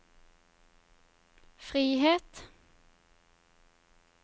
frihet